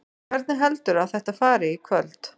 Hvernig heldurðu að þetta fari í kvöld?